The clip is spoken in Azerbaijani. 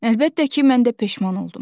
Əlbəttə ki, mən də peşman oldum.